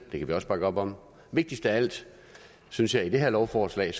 det kan vi også bakke op om vigtigst af alt synes jeg i det her lovforslag er